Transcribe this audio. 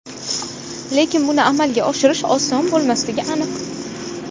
Lekin buni amalga oshirish oson bo‘lmasligi aniq.